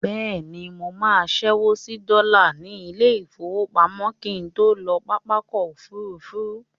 Bẹ́ẹ̀ni, mo máa ṣẹ́wó sí dọ́là ní ilé-ìfowópamọ́ kí n tó lọ sí pápákọ̀ òfurufú.